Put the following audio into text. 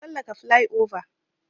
Na tsallaka plyova.